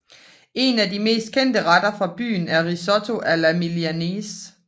En af de mest kendte retter fra byen er risotto alla milanese